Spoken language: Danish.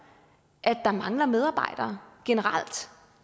at der mangler medarbejdere generelt